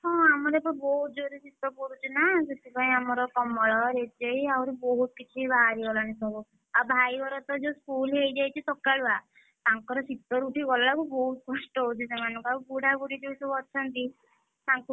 ହଁ ଆମର ଏବେ ବହୁତ୍ ଜୋରେ ଶୀତ ପଡୁଛିନାସେଥିପାଇଁ ଆମର କମଳ, ରେଜେଇ ଆହୁରି ବହୁତ୍ କିଛି ସବୁ ବାହାରିଗଲାଣି ସବୁ ଆଉ ଭାଇ ଘରତ ଯୋଉ school ହେଇଯାଇଛି ସକାଳୁଆ ତାଙ୍କର ଶୀତରୁ ଉଠି ଗଲା ବେଳକୁ ବହୁତ୍ କଷ୍ଟ ହଉଛି ସେମାନଙ୍କୁ, ଆଉ ବୁଢାବୁଢୀ ଯୋଉ ସବୁ ଅଛନ୍ତି, ତାଙ୍କୁ,